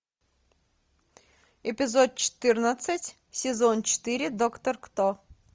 эпизод четырнадцать сезон четыре доктор кто